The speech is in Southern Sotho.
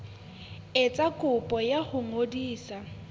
etsa kopo ya ho ngodisa